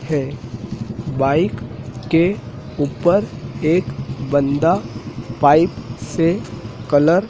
है बाइक के ऊपर एक बंदा पाइप से कलर ।